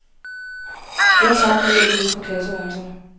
Ja tak, lyder det udefra klasseværelserne.